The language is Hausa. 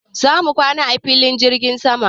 Za mu kwana a filin jirgin sama.